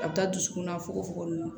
A bɛ taa dusukunna fogofogo min